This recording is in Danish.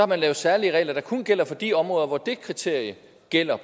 man lavet særlige regler der kun gælder for de områder hvor det kriterie gælder